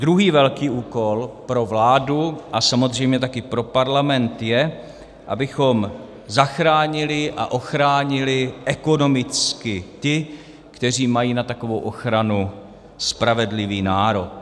Druhý velký úkol pro vládu a samozřejmě taky pro Parlament je, abychom zachránili a ochránili ekonomicky ty, kteří mají na takovou ochranu spravedlivý nárok.